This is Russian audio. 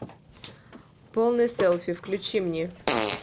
полный селфи включи мне